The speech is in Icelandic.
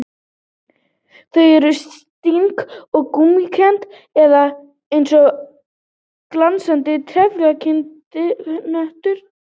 Þau eru stinn og gúmmíkennd eða eins og glansandi, trefjakenndir hnökrar.